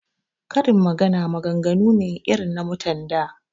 Karin magana maganganu ne irin na mutan da